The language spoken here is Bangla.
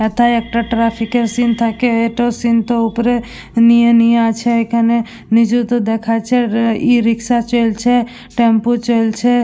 একাই একটা ট্রাফিকের সিন থাকে। এ টো সিন থো উপরে নিয়ে নিয়ে আছে। এখানে নিজেতো দেখাচ্ছে রে ই রিক্সা চলছে টেম্পু চলছে।